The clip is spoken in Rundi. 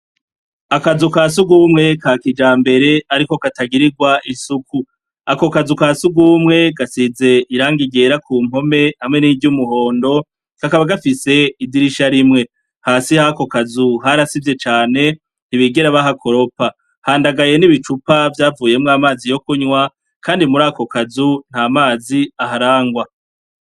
Akazu ka sugumwe ka kijambere ariko katagirigwa isuku. Ako kazu ka sugumwe gasize irangi ryera ku mpome hamwe niry'umuhondo kakaba gafise idirisha rimwe. Hasi hako kazu harasivye cane ntibigera bahakoropa. Handagaye n'ibicupa vyavuyemwo amazi yo kunywa kandi mur'ako kazu nta mazi aharangwa.